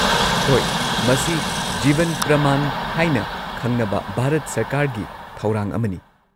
ꯍꯣꯏ, ꯃꯁꯤ ꯖꯤꯕꯟ ꯄ꯭ꯔꯃꯥꯟ ꯍꯥꯏꯅ ꯈꯪꯅꯕ ꯚꯥꯔꯠ ꯁꯔꯀꯥꯔꯒꯤ ꯊꯧꯔꯥꯡ ꯑꯃꯅꯤ꯫